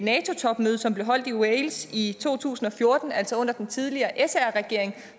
topmøde som blev holdt i wales i to tusind og fjorten altså under den tidligere sr regering